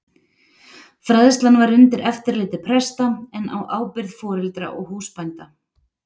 Fræðslan var undir eftirliti presta en á ábyrgð foreldra og húsbænda.